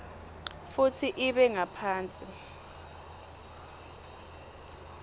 futsi ibe ngaphasi